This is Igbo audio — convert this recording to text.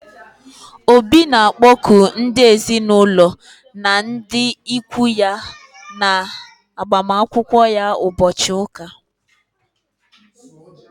Obi na akpoku ndị ezinaụlọ na ndị ụkwụ ya na agbamakwụkwọ ya ụbọchị ụka